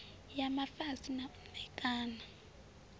ya mafisa na u ṋekana